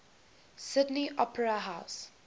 sydney opera house